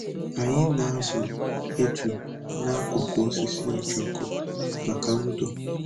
Anyị na-azụ eju n'akụkụ osisi ojoko maka ndo